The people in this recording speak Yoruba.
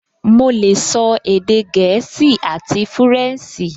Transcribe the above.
Mo lè sọ èdè gẹ̀ẹ́sì àti fúrẹ̀nsì